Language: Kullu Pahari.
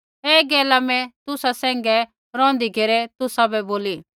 ऐ गैला मैं तुसा सैंघै रौहन्दी घेरै तुसाबै बोली